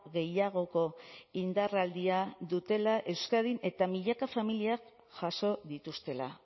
gehiagoko indarraldia dutela euskadin eta milaka familiak jaso dituztela